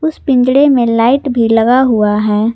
इस पिंजणे में लाइट भी लगा हुआ है।